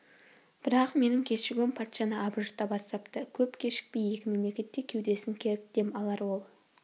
бірақ менің кешігуім патшаны абыржыта бастапты көп кешікпей екі мемлекет те кеудесін керіп дем алар ол